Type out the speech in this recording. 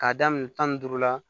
K'a daminɛ tan ni duuru la